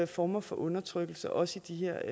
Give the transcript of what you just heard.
former for undertrykkelse også i de her